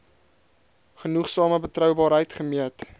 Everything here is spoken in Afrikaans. genoegsame betroubaarheid gemeet